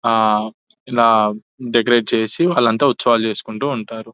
ఆ ఇలా డెకరేట్ చేసి వాళ్ళంతా ఉత్సవాలు చేసుకుంటూ ఉంటారు --